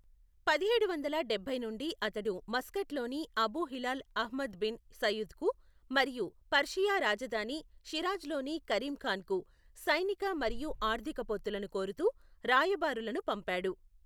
పదిహేడు వందల డబ్బై నుండి అతడు మస్కట్లోని అబూ హిలాల్ అహ్మద్ బిన్ సయీద్కు మరియు పర్షియా రాజధాని షిరాజ్లోని కరీం ఖాన్కు సైనిక మరియు ఆర్థిక పొత్తులను కోరుతూ రాయబారులను పంపాడు.